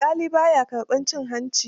Alƙalin ba ya karɓar cin hanci